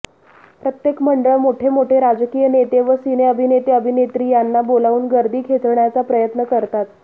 प्रत्येक मंडळ मोठमोठे राजकीय नेते व सिने अभिनेते अभिनेत्री यांना बोलावून गर्दी खेचण्याचा प्रयत्न करतात